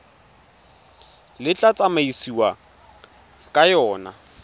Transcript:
le tla tsamaisiwang ka yona